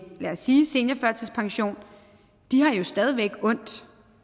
seniorførtidspension har jo stadig væk ondt